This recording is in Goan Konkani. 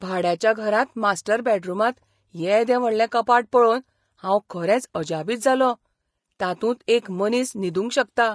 भाड्याच्या घरांत मास्टर बॅडरुमांत येदें व्हडलें कपाट पळोवन हांव खरेंच अजापीत जालों, तातूंत एक मनीस न्हिदूंक शकता.